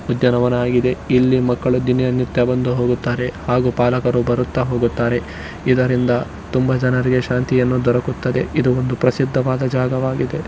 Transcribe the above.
ಉದ್ಯಾನವನ ಹಾಗಿದೆ ಇಲ್ಲಿ ದಿನ ಮಕ್ಕಳು ದಿನನಿತ್ಯ ಬಂದು ಹೋಗುತ್ತಾರೆ ಹಾಗೂ ಬಾಲಕರು ಬರುತ್ತಾ ಹೋಗುತ್ತಾರೆ ಇದರಿಂದ ತುಂಬಾ ಜನರಿಗೆ ಶಾಂತಿಯನ್ನು ದೊರಕುತ್ತದೆ ಇದು ಒಂದು ಪ್ರಸಿದ್ಧವಾದ ಜಾಗ ಆಗಿದೆ.